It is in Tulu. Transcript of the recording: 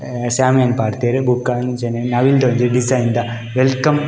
ಅ ಶ್ಯಾಮಿಯಾನ ಪಾಡ್ದೆರ್ ಬೊಕ ಅಂಚನೆ ನವಿಲ್ದ ಒಂಜಿ ಡಿಸೈನ್ ದ ವೆಲ್ಕಮ್ .